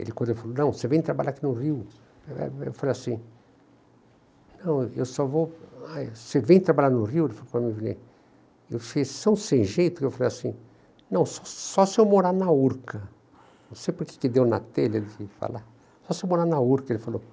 Ele quando falou, não, você vem trabalhar aqui no Rio, eu falei assim, não, eu só vou, ah, você vem trabalhar no Rio, ele falou para mim, eu fiquei tão sem jeito, que eu falei assim, não, só se eu morar na Urca, não sei o que que me deu na telha de falar, só se eu morar na Urca, ele falou.